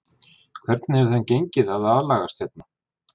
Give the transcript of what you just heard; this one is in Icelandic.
Hvernig hefur þeim gengið að aðlagast hérna?